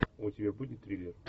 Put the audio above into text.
у тебя будет триллер